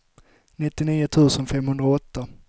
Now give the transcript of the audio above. nittionio tusen femhundraåtta